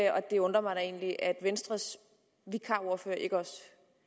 og det undrer mig da egentlig at venstres vikarordfører ikke også